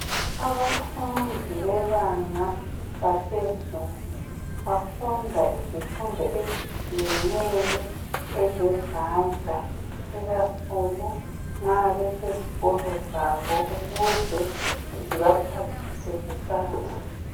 Abafundi bebanga laphezulu bafunda izifundo ezitshiyeneyo ezezandla ukakhulu nxa besezikolo zabo ukuze zibaphathise kusasa.